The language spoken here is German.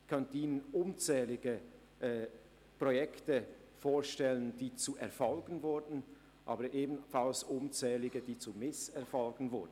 Ich könnte Ihnen unzählige Projekte vorstellen, die zu Erfolgen wurden, aber ebenfalls unzählige, die zu Misserfolgen wurden.